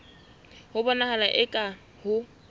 ho bonahala eka ha ho